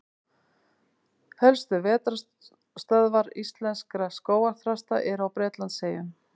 Helstu vetrarstöðvar íslenskra skógarþrasta eru á Bretlandseyjum.